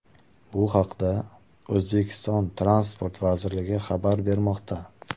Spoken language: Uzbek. Bu haqda O‘zbekiston Transport vazirligi xabar bermoqda.